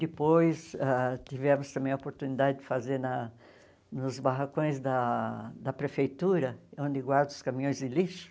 Depois ãh tivemos também a oportunidade de fazer na nos barracões da da prefeitura, onde guardam os caminhões de lixo.